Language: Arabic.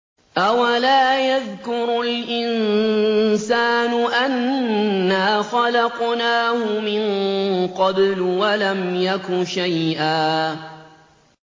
أَوَلَا يَذْكُرُ الْإِنسَانُ أَنَّا خَلَقْنَاهُ مِن قَبْلُ وَلَمْ يَكُ شَيْئًا